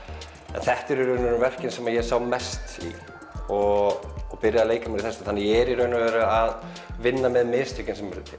þetta eru í raun og veru verkin sem ég sá mest í og byrjaði að leika mér í þessu þannig að ég er í raun og veru að vinna með mistökin sem urðu til